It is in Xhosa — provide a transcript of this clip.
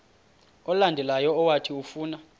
olandelayo owathi ufuna